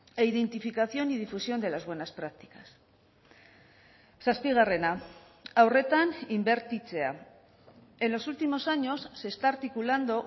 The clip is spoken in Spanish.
e identificación y difusión de las buenas prácticas zazpigarrena haurretan inbertitzea en los últimos años se está articulando